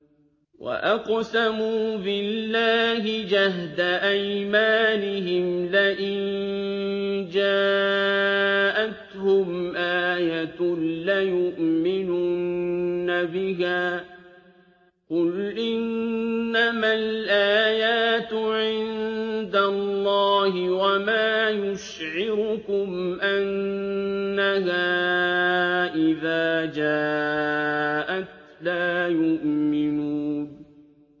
وَأَقْسَمُوا بِاللَّهِ جَهْدَ أَيْمَانِهِمْ لَئِن جَاءَتْهُمْ آيَةٌ لَّيُؤْمِنُنَّ بِهَا ۚ قُلْ إِنَّمَا الْآيَاتُ عِندَ اللَّهِ ۖ وَمَا يُشْعِرُكُمْ أَنَّهَا إِذَا جَاءَتْ لَا يُؤْمِنُونَ